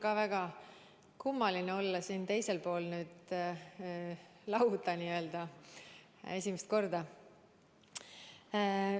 Mul on väga kummaline olla esimest korda siin teisel pool lauda.